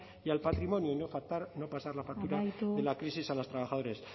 y al patrimonio y no pasar la factura de la crisis a los trabajadores